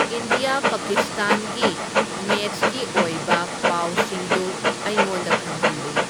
India ꯄꯀꯤꯁꯇꯥꯟꯒꯤ match ꯒꯤ ꯑꯣꯏꯕ ꯄꯥꯎꯁꯤꯡꯗꯨ ꯑꯩꯉꯣꯟꯗ ꯈꯪꯍꯟꯂꯨ